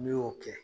N'i y'o kɛ